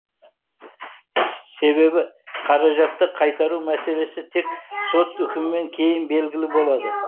себебі қаражатты қайтару мәселесі тек сот үкімінен кейін белгілі болады